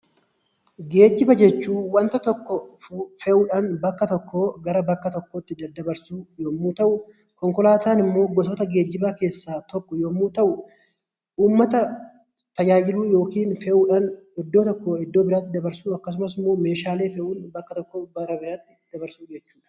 Geejjibaa jechuun wanta tokko fe'uu dhaan bakka tokkoo gara bakka tokkoo tti daddabarsuu yommuu ta'u,; Konkolaataan immoo gosoota geejjibaa keessaa tokko yommuu ta'u, uummata tajaajiluu yookiin fe'uu dhaan iddoo tokkoo iddoo biraatti dabarsuu akkasumas immoo meeshaalee fe'uun bakka tokko bakka biraatti dabarsuu jechuu dha.